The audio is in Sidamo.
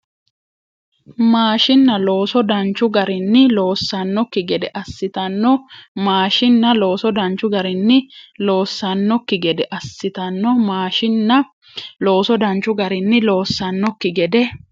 Maashiinna looso danchu garinni loossannokki gede assitanno Maashiinna looso danchu garinni loossannokki gede assitanno Maashiinna looso danchu garinni loossannokki gede.